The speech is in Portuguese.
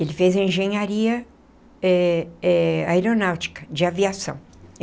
Ele fez engenharia eh eh aeronáutica, de aviação.